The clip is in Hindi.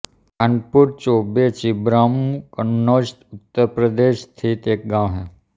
खानपुर चौबे छिबरामऊ कन्नौज उत्तर प्रदेश स्थित एक गाँव है